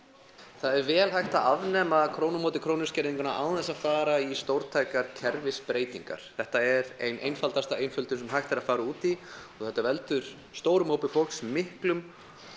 það er vel hægt að afnema krónu á móti krónu skerðingu án þess að fara í stórtækar kerfisbreytingar þetta er ein einfaldasta einföldun sem hægt er að fara út í og þetta veldur stórum hópi fólks miklum